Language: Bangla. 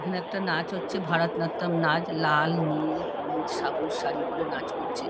এখানে একটা নাচ হচ্ছে ভারত নাট্যম নাচ। লাল নীল হলুদ সাবুজ শাড়ি পরে নাচ করছে ।